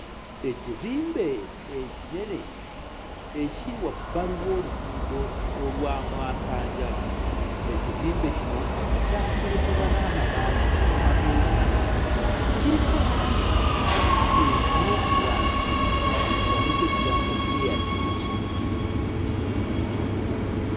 Ekizimbe ekinene ekiri wabbali w'oluguudo olwa mwasanjala. Ekizimbe kino kyaserekebwa n'amabaati amamyukirivu. Kiriko langi emmyufu wansi nga kuliko ekigambo Airtel.